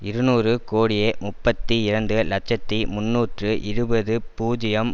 இருநூறு கோடியே முப்பத்தி இரண்டு இலட்சத்தி முன்னூற்று இருபது பூஜ்ஜியம்